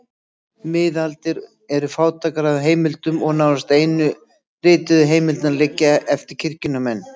Miðaldir eru fátækar af heimildum og nánast einu rituðu heimildirnar liggja eftir kirkjunnar menn.